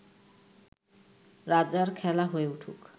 রাজার খেলা হয়ে উঠুক